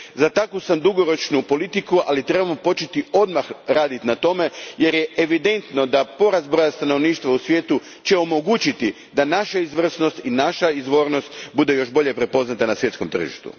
Za takvu sam dugoročnu politiku, ali trebamo početi odmah raditi na tome jer je evidentno da će porast broja stanovništva u svijetu omogućiti da naša izvrsnost i naša izvornost budu još bolje prepoznate na svjetskom tržištu.